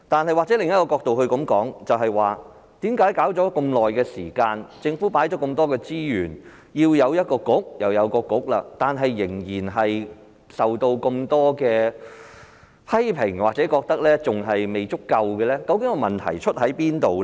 或許從另一個角度來看，為何搞了那麼長的時間，政府投放了那麼多資源，要有政策局便有政策局，但仍然受到那麼多的批評或仍然未足夠，究竟問題出在哪裏呢？